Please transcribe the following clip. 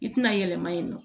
I tɛna yɛlɛma yen nɔ